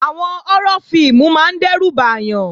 Àwọn họ́rọ́ fíìmù máa ń dẹ́rù bàyàn